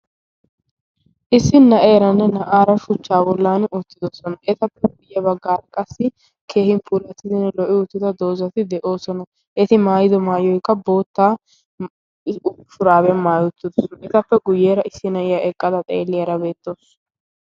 issi na'eeranne na'aara shu hchaawolan oottidosona etappe guyye baggaarakqassi kehin puratidinne lo'i oottida doozati de'oosona eti maayido maayo'kka bootta iypuraabe maayottidos etappe guyyeera issi na'iya eqqada xeeliyaara beettoosu